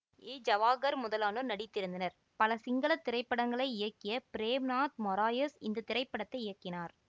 ஏ ஜவாஹர் முதலானோர் நடித்திருந்தனர் பல சிங்கள திரைப்படங்களை இயக்கிய பிரேம்நாத் மொறாயஸ் இந்த திரைப்படத்தை இயக்கினார்